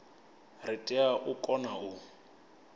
ri tea u kona u